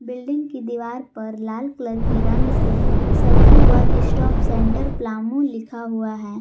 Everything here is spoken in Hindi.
बिल्डिंग की दीवार पर लाल कलर की रंग से Sakhi one stop centre Palamu लिखा हुआ है।